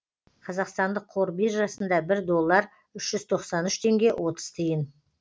қазақстандық қор биржасында бір доллар үш жүз тоқсан үш теңге отыз тиын